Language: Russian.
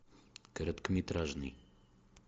короткометражный